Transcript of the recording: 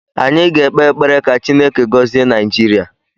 Anyị ga-ekpe ekpere ka Chineke gọzie Naijiria